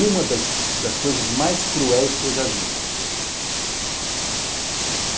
Uma das das coisas mais cruéis que eu já vi.